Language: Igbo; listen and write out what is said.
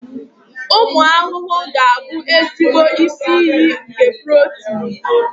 Ụmụ ahụhụ ga-abụ ezigbo isi iyi nke protini.